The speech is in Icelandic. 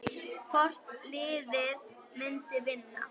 Hvort liðið myndi vinna?